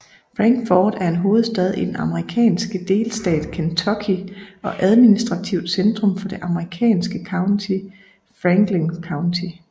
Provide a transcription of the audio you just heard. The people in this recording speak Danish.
Frankfort er hovedstad i den amerikanske delstat Kentucky og administrativt centrum for det amerikanske county Franklin County